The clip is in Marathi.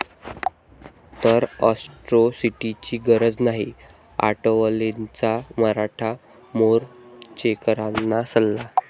...तर अॅट्रॉसिटीची गरज नाही, आठवलेंचा मराठा मोर्चेकरांना सल्ला